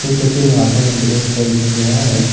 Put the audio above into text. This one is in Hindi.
इस तस्वीर में दिखाई दे रहा हैं।